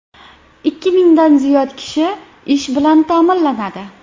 Ikki mingdan ziyod kishi ish bilan ta’minlanadi.